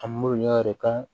A m'u ɲɔ yɛrɛ ka